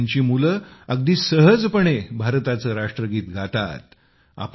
आज त्यांची मुले अगदी सहजपणे भारताचे राष्ट्रगीत गातात